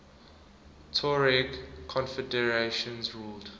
tuareg confederations ruled